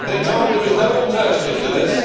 They are told there is no alternative to this